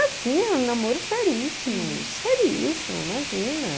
Ah, sim, era um namoro seríssimo, seríssimo, imagina.